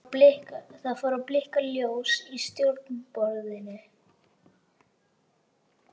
Kona hans er Sólveig Erlendsdóttir kennari.